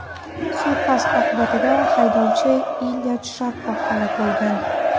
Suiqasd oqibatida haydovchi Ilya Jarkov halok bo‘lgan.